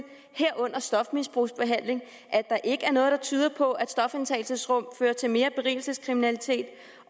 herunder stofmisbrugsbehandling at der ikke er noget der tyder på at stofindtagelsesrum fører til mere berigelseskriminalitet